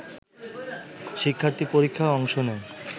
শিক্ষার্থী পরীক্ষায় অংশ নেয়